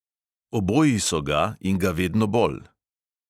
Oboji so ga in ga vedno bolj.